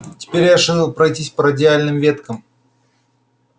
теперь я шил пройтись по радиальным веткам